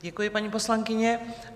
Děkuji, paní poslankyně.